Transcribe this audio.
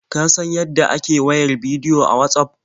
Ka san yadda ake wayar bidiyo a Watsaf?